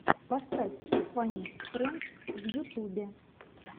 поставь фанни френдс в ютубе